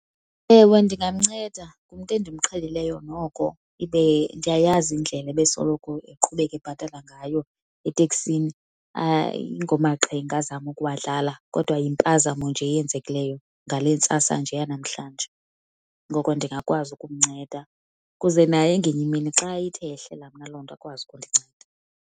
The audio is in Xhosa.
Ewe, ndingamnceda. Ngumntu endimqhelileyo noko ibe ndiyayazi indlela ebesoloko eqhubeka ebhatala ngayo eteksini. Ayingomaqhinga azama ukuwadlala kodwa yimpazamo nje eyenzekileyo ngale ntsasa nje yanamhlanje. Ngoko ndingakwazi ukumnceda ukuze naye ngenye imini xa ithe yehlela mna loo nto akwazi ukundinceda.